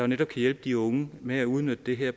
netop kan hjælpe de unge med at udnytte det her